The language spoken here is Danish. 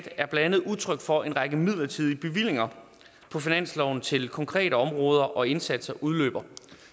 er blandt andet udtryk for at en række midlertidige bevillinger på finansloven til konkrete områder og indsatser udløber